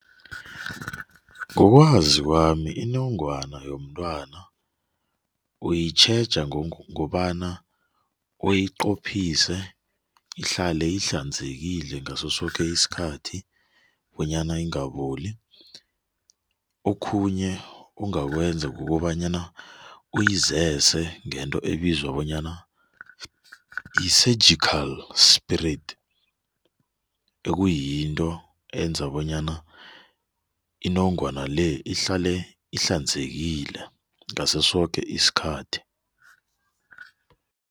Ngokwazi kwami, inongwana yomntwana yomntwana uyitjheja ngokobana uyiqophise ihlale ihlanzekile ngaso soke isikhathi bonyana ingaboli. Okhunye ongakwenza kukobanyana uyizese ngento ebizwa bonyana yi-surgical spirit nekuyinto eyenza bonyana inongwana-le ihlale ihlanzekile ngaso soke isikhathi.